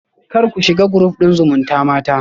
Kar ku shiga group din zumutamata